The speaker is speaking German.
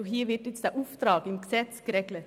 Dieser Auftrag wird nun im Gesetz geregelt.